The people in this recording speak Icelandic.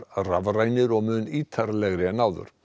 rafrænir og mun ítarlegri en áður